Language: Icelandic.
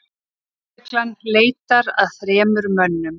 Lögreglan leitar að þremur mönnum